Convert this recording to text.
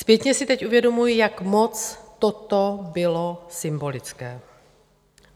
Zpětně si teď uvědomuji, jak moc toto bylo symbolické.